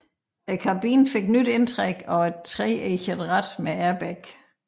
Kabinen fik nyt indtræk og et treeget rat med airbag